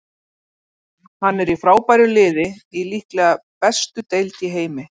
Hann er í frábæru liði í líklega bestu deild í heimi.